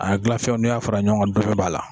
A gilanfɛnw n'i y'a fɔra ɲɔgɔn kan dɔ bi b'a la